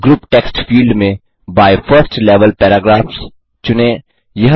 group text field में by 1एसटी level paragraphs चुनें